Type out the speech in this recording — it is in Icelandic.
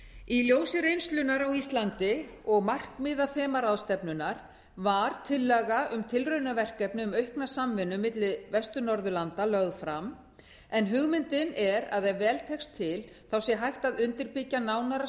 í ljósi reynslunnar á íslandi og markmiða þemaráðstefnunnar var tillaga um tilraunaverkefni um aukna samvinnu milli vestur norðurlanda lögð fram en hugmyndin er að ef vel tekst til sé hægt að undirbyggja nánara